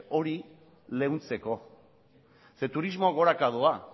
hori leuntzeko ze turismoa goraka doa